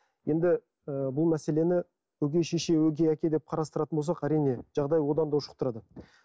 енді ы бұл мәселені өгей шеше өгей әке деп қарастыратын болсақ әрине жағдай одан да ушықтырады